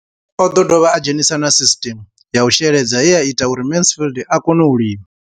O ḓo dovha a dzhenisa na sisiṱeme ya u sheledza ye ya ita uri Mansfied a kone u lima.